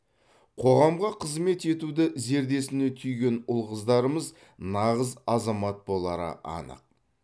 қоғамға қызмет етуді зердесіне түйген ұл қыздарымыз нағыз азамат болары анық